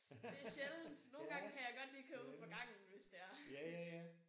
Det er sjældent. Nogle gange kan jeg godt lige køre ud på gangen hvis det er